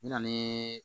N mɛna